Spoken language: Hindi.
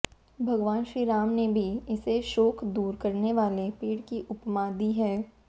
भगवान श्रीराम ने भी इसे शोक दूर करने वाले पेड़ की उपमा दी है